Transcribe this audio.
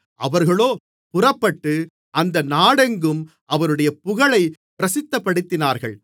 அவர்களோ புறப்பட்டு அந்த நாடெங்கும் அவருடைய புகழைப் பிரசித்தப்படுத்தினார்கள்